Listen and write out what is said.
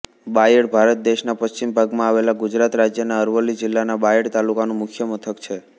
બાયડ ભારત દેશના પશ્ચિમ ભાગમાં આવેલા ગુજરાત રાજ્યના અરવલ્લી જિલ્લાના બાયડ તાલુકાનું મુખ્ય મથક છે